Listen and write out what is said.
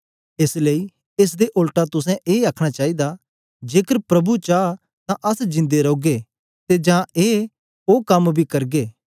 एस लेई एस दे ओलटा तुसें ए आ आखना चाईदा जेकर प्रभु चा तां अस जिन्दे रौगे ते ए जां ओ कम बी करगे